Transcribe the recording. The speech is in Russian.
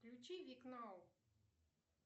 включи вик нау